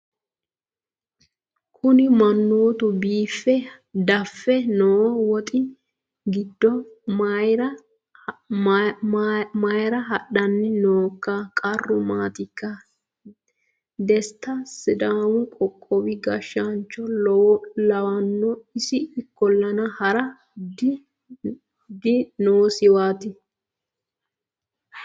kuni mannootu biife daffe noo woxi giddo mayra hadhanni nooikka qarru maatikka desta sidaamu qoqowi gashshaancho lawanno isi ikkollana hara dinoosiwaati